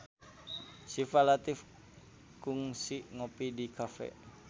Syifa Latief kungsi ngopi di cafe